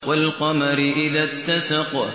وَالْقَمَرِ إِذَا اتَّسَقَ